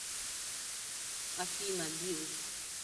афина билл